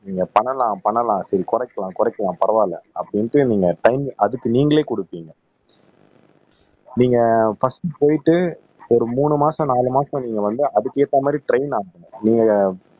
நீங்க பண்ணலாம் பண்ணலாம் சரி குறைக்கலாம் குறைக்கலாம் பரவாயில்லை அப்படின்ட்டு நீங்க டைம் அதுக்கு நீங்களே குடுப்பீங்க நீங்க பர்ஸ்ட் போயிட்டு ஒரு மூணு மாசம் நாலு மாசம் நீங்க வந்து அதுக்கு ஏத்த மாதிரி ட்ரெயின் ஆகணும் நீங்க